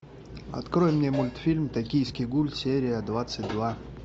открой мне мультфильм токийский гуль серия двадцать два